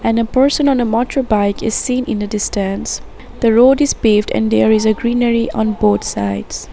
And a person on a motorbike is seen in the distance. The road is paved and there is greenery on both sides.